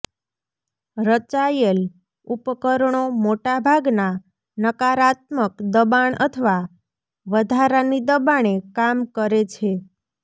રચાયેલ ઉપકરણો મોટા ભાગના નકારાત્મક દબાણ અથવા વધારાની દબાણે કામ કરે છે